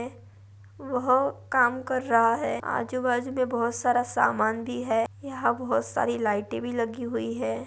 वह काम कर रहा है आजू-बाजू मे बहुत सारा सामान भी है यहाँ बहुत सारी लाइट भी लगी हुई है।